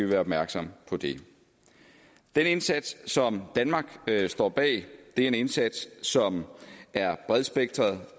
være opmærksom på det den indsats som danmark står bag er en indsats som er bredspektret